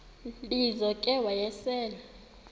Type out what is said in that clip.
lizo ke wayesel